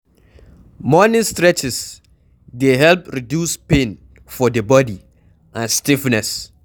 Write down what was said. Morning stretches dey help reduce pain for di bodi and stiffness